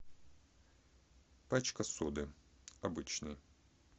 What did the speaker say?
пачка соды обычная